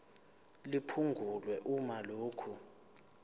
liphungulwe uma lokhu